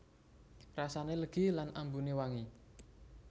Rasané legi lan ambuné wangi